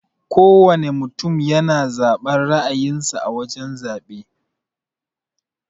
Kowana mutum yana zaben ra'ayin sa a wajan zabe.